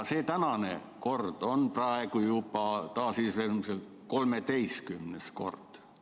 See tänane kord on taasiseseisvumise järel praegu juba 13. kord.